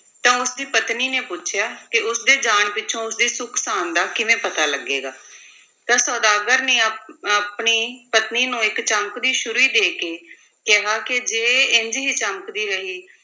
ਤਾਂ ਉਸ ਦੀ ਪਤਨੀ ਨੇ ਪੁੱਛਿਆ ਕਿ ਉਸ ਦੇ ਜਾਣ ਪਿੱਛੋਂ ਉਸ ਦੀ ਸੁੱਖ-ਸਾਂਦ ਦਾ ਕਿਵੇਂ ਪਤਾ ਲੱਗੇਗਾ ਤਾਂ ਸੁਦਾਗਰ ਨੇ ਆ~ ਆਪਣੀ ਪਤਨੀ ਨੂੰ ਇੱਕ ਚਮਕਦੀ ਛੁਰੀ ਦੇ ਕੇ ਕਿਹਾ ਕਿ ਜੇ ਇੰਞ ਹੀ ਚਮਕਦੀ ਰਹੀ,